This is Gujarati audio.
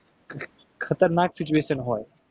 ખતરનાક situation હોય.